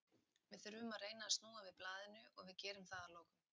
Við þurfum að reyna að snúa við blaðinu og við gerum það að lokum.